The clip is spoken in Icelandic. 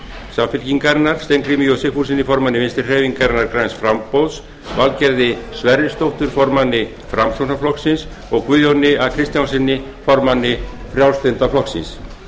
samfylkingarinnar steingrími j sigfússyni formanni vinstri hreyfingarinnar græns framboðs valgerði sverrisdóttur formanni framsóknarflokksins og guðjóni a kristjánssyni formanni frjálslynda flokksins